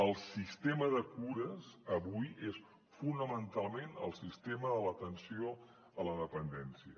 el sistema de cures avui és fonamentalment el sistema de l’atenció a la dependència